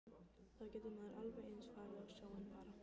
Þá getur maður alveg eins farið á sjóinn bara.